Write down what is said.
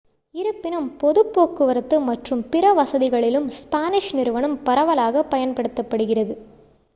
இருப்பினும் பொதுப் போக்குவரத்து மற்றும் பிற வசதிகளிலும் ஸ்பானிஷ் நிறுவனம் பரவலாகப் பயன்படுத்தப்படுகிறது